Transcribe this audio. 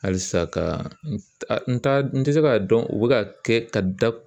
Halisa ka n'a n tɛ se k'a dɔn u bɛ ka kɛ ka da